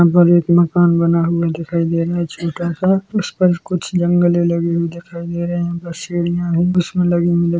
यहां पर एक मकान बना हुआ दिखाई दे रहा है छोटा सा उस पर कुछ जंगले लगे हुए दिखाई दे रहे है और सीढ़ियां भी उसमे लगी हुई हैं।